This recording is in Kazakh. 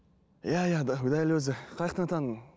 иә иә дәл өзі таныдың